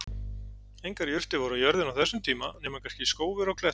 Engar jurtir voru á jörðinni á þessum tíma nema kannski skófir á klettum.